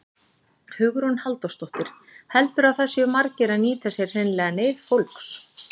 Hugrún Halldórsdóttir: Heldurðu að það séu margir að nýta sér hreinlega neyð fólks?